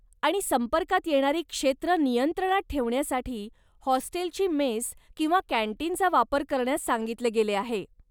आणि, संपर्कात येणारी क्षेत्र नियंत्रणात ठेवण्यासाठी, हॉस्टेलची मेस किंवा कॅन्टीनचा वापर करण्यास सांगितले गेले आहे.